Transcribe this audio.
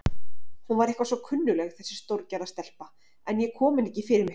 Hún var eitthvað svo kunnugleg þessi stórgerða stelpa, en ég kom henni ekki fyrir mig.